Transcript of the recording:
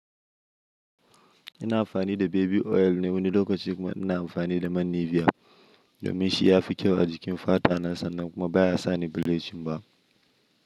Ina amfani da baby oil ne wani lokaci kuma ina amfani da man Nivea domin shi ya fi kyau a jikin fatana sannan kuma baya sa ni bilicin ba.